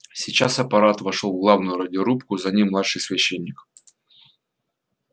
сейчас аппарат вошёл в главную радиорубку за ним младший священник